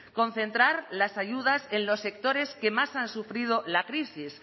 concentrar las ayudas en los sectores que más han sufrido la crisis